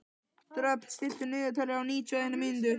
Dröfn, stilltu niðurteljara á níutíu og eina mínútur.